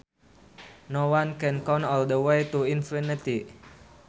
No one can count all the way to infinity